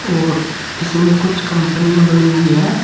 और इसमें कुछ कंपनियां बनी हुई है।